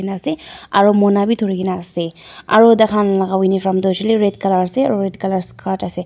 ase aro mona bi dhurikaena ase aro takhan laka uniform tu hoishele red colour ase aro red colour skirt ase.